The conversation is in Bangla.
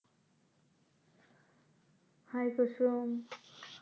hi কুসুম